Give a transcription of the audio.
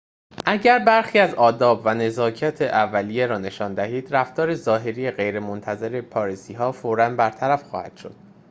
اگر برخی از آداب و نزاکت اولیه را نشان دهید رفتار ظاهری غیرمنتظره پاریسی‌ها فوراً برطرف خواهد شد